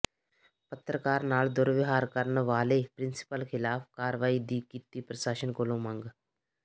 ਪੱਤਰਕਾਰ ਨਾਲ ਦੁਰਵਿਹਾਰ ਕਰਨ ਵਾਲੇ ਪ੍ਰਿੰਸੀਪਲ ਖਿਲਾਫ ਕਾਰਵਾਈ ਦੀ ਕੀਤੀ ਪ੍ਰਸਾਸ਼ਨ ਕੋਲੋਂ ਮੰਗ